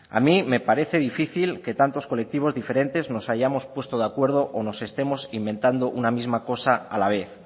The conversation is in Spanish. a mí me parece difícil que tantos colectivos diferentes nos hayamos puesto de acuerdo o nos estemos inventando una misma cosa a la vez